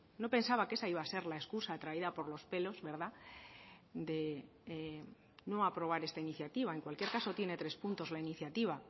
no pensaba que esa iba a ser la escusa traída por los pelos verdad de no aprobar esta iniciativa en cualquier caso tiene tres puntos la iniciativa